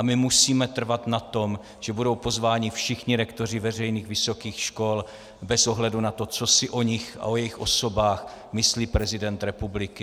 A my musíme trvat na tom, že budou pozváni všichni rektoři veřejných vysokých škol bez ohledu na to, co si o nich a o jejich osobách myslí prezident republiky.